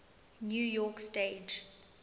new york stage